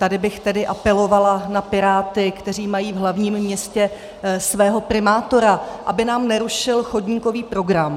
Tady bych tedy apelovala na Piráty, kteří mají v hlavním městě svého primátora, aby nám nerušil chodníkový program.